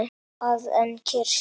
að en kirkju.